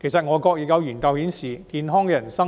其實外國也有研究顯示，健康人士